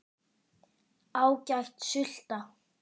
Ágæt sulta.